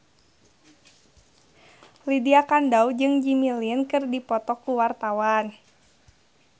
Lydia Kandou jeung Jimmy Lin keur dipoto ku wartawan